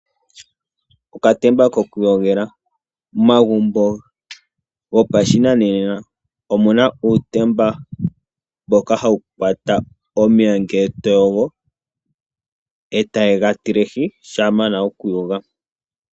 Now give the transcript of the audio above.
Uutemba wokuyogela. Momagumbo gopashinanena, omuna uutemba mboka hawu tulwa omeya ngele toyogo, nokugatilahi shampa yamana okuyoga.